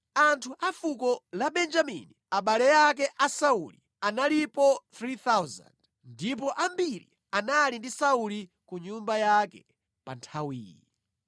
Anthu a fuko la Benjamini, abale ake a Sauli analipo 3,000 ndipo ambiri anali ndi Sauli ku nyumba yake pa nthawiyi;